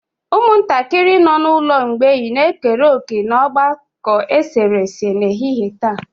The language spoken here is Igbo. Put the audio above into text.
Ụmụntakịrị nọ n'ụlọ mgbei na-ekere òkè n'ogbako eserese n'ehihie taa.